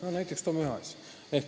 Selline üks näide.